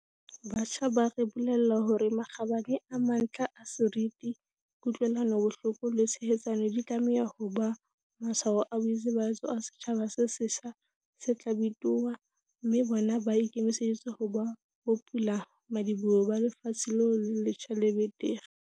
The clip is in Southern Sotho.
Batjha ba re bolella hore makgabane a mantlha a seriti, ku-tlwelanobohloko le tshehetsano di tlameha ho ba matshwao a boitsebahatso a setjhaba se setjha se tla bitoha, mme bona ba ikemiseditse ho ba bopulamadi-boho ba lefatshe leo le letjha le betere.